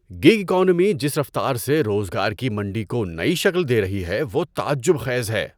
Gig economy جس رفتار سے روزگار کی منڈی کو نئی شکل دے رہی ہے وہ تعجب خیز ہے۔